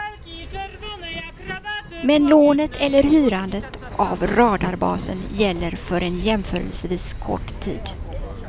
Men lånet eller hyrandet av radarbasen gäller för en jämförelsevis kort tid.